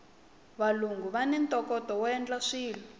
valungu vani ntokoto woendla swilo